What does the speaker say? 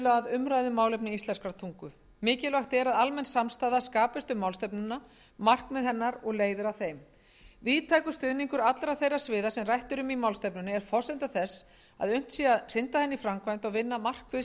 umræðu um málefni íslenskrar tungu mikilvægt er að almenn samstaða skapist um málstefnuna markmið hennar og leiðir að þeim víðtækur stuðningur allra þeirra sviða sem rætt er um í málstefnunni er forsenda þess að unnt sé að hrinda henni í framkvæmd og vinna markvisst á